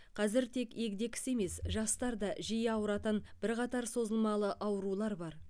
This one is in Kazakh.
қазір тек егде кісі емес жастар да жиі ауыратын бірқатар созылмалы аурулар бар